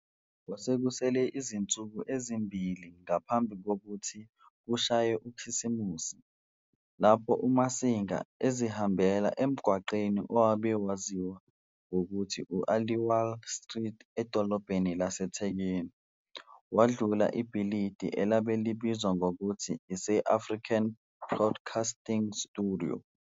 Kwasekusele izinsuku ezimbili ngaphambi kokuthis kushaye ukhisimusi, lapho Umasinga ezihambela emgwaqeni owabe waziwa ngokuthi u-Aliwal Street edolobheni laseThekwini wadlula ibhilidie elabe libizwa ngokuth ise-African Broadcasting Studios.